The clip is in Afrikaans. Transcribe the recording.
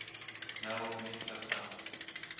nou opnuut vertel